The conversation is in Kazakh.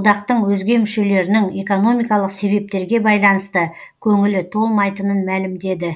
одақтың өзге мүшелерінің экономикалық себептерге байланысты көңілі толмайтынын мәлімдеді